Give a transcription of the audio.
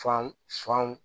Fan fanw